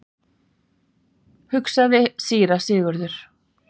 hugsaði síra Sigurður.